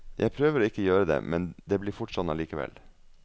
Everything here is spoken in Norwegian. Jeg prøver å ikke gjøre det, men det blir fort sånn allikevel.